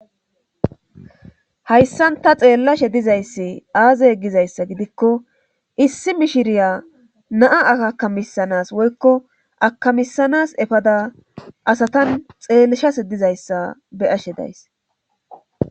Hayssanta xeellashe dizayssi aaze gizayssa gidikko issi mishiriya naa akakamisanas woykko akamisanas efada asatan xeellashase dizayssa beyashe days